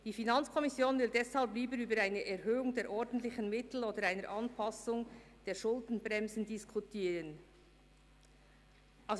Sie will deshalb lieber über die] Erhöhung der ordentlichen Mittel oder eine Anpassung der Schuldenbremse [diskutieren] […]».